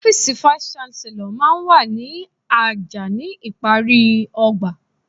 Ọ́fíìsì vice-Chancellor máa ń wà ní àjà ní ìparí ọgbà.